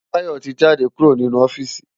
Tayo ti jádé kúró ninú ofìsí